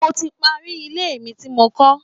Mo ti parí ilé mi tí mò ń kọ́